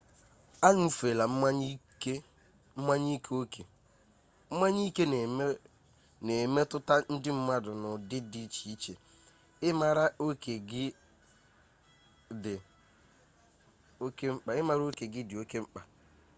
añụfela mmanya ike oke mmanya ike na emetụta ndị mmadụ n'ụdị dị iche iche ịmara oke gị dị oke mkpa